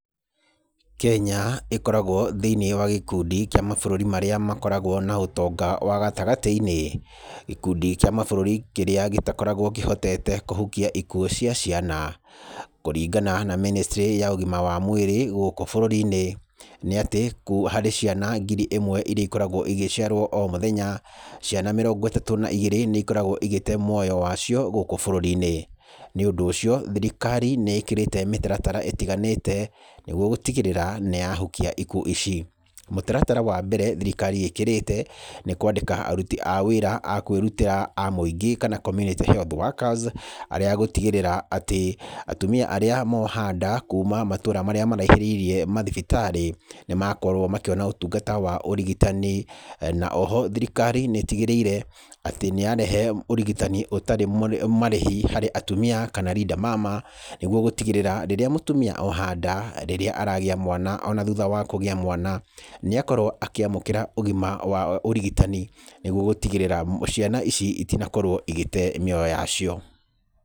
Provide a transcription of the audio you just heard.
Kenya, ĩkoragwo thĩiniĩ wa gĩkundi kĩa mabũrũri marĩa makoragwo na ũtonga wa gatagatĩ-inĩ. Gĩkundi kĩa mabũrũri kĩrĩa gĩtakoragwo kĩhotete kũhukia ikuũ cia ciana. Kũringana na ministry ya ũgima wa mwĩri gũkũ bũrũri-inĩ, nĩ atĩ harĩ ciana ngiri ĩmwe iria ikoragwo igĩciarwo o mũthenya, ciana mĩrongo ĩtatũ na igĩrĩ nĩ ikoragwo igĩte muoyo wayo gũkũ bũrũri-inĩ. Nĩ ũndũ ũcio, thirikari nĩ ĩkĩrĩte mĩtaratara ĩtiganĩte nĩguo gũtigĩrĩra nĩ yahukia ikuũ ici. Mũtaratara wa mbere thirikari ĩkĩrĩte, nĩ kwandĩka aruti a wĩra a kwĩrutĩra a mwĩingĩ kana community health workers ,arĩa gũtigĩrĩra atĩ atumia arĩa moha nda kuma matũũra marĩa maraihĩrĩirie mathibitarĩ, nĩ makorwo makĩona ũtungata wa ũrigitani. Na oho thirikari nĩ ĩtigĩrĩire atĩ nĩ yarehe ũrigitani ũtarĩ marĩhe harĩ atumia kana linda mama, nĩguo gũtigĩrĩra rĩrĩa mũtumia oha nda, rĩrĩa aragĩa mwana ona thutha wa kũgĩa mwana, nĩ akorwo akĩamukĩra ũgima wa ũrigitani nĩguo gũtigĩrĩra ciana ici itinakorwo igĩte mĩoyo yacio.